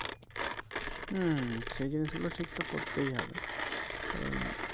উম সে জিনিস গুলো ঠিক তো করতেই হবে কারণ